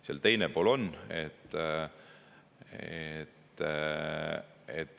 Seal on teine pool ka.